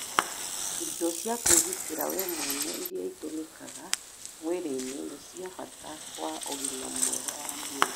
Indo cia kũigitĩra we mwene iria itũmikaga wĩrainĩ nĩ cia mbata kwa ũgima mwega wa mwĩrĩ